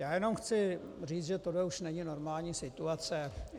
Já jenom chci říct, že tohle už není normální situace.